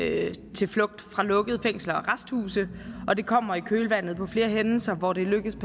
til flugt fra lukkede fængsler og arresthuse og det kommer i kølvandet på flere hændelser hvor det er lykkedes